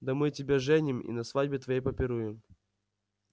да мы тебя женим и на свадьбе твоей попируем